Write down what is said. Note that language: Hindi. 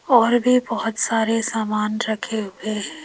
और भी बहुत सारे सामान रखे हुए हैं।